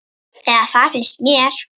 Eða það finnst mér.